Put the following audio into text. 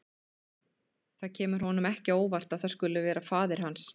Það kemur honum ekki á óvart að það skuli vera faðir hans.